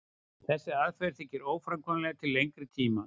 þessi aðferð þykir óframkvæmanleg til lengri tíma